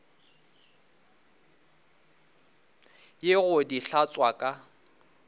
ye go di hlatswa ka